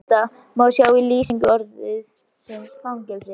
Dæmi um þetta má sjá í lýsingu orðsins fangelsi: